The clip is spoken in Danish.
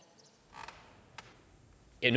jeg